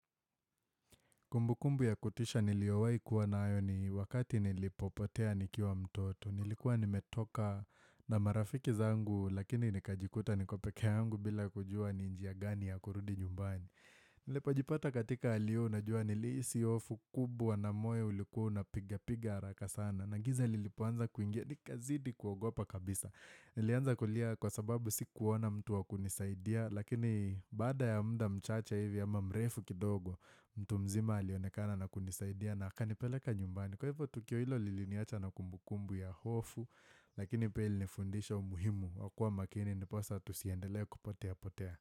Kumbukumbu ya kutisha niliowai kuwa nayo ni wakati nilipopotea nikiwa mtoto. Nilikuwa nimetoka na marafiki zangu lakini nikajikuta nikopeke yangu bila kujua ni njia gani ya kurudi nyumbani. Nilipojipata katika hali hiyo unajua nilihisi hofu kubwa na moyo ulikuwa una piga piga haraka sana. Nagiza lilipoanza kuingia nikazidi kuogopa kabisa. Nilianza kulia kwa sababu si kuona mtu wakunisaidia lakini baada ya muda mchacha hivi ama mrefu kidogo. Mtu mzima alionekana na kunisaidia na aka nipeleka nyumbani Kwa hivyo tukio hilo lili niacha na kumbukumbu ya hofu Lakini pia ilinifundisha umuhimu wakua makini ndiposa tusiendelee kupotea-potea.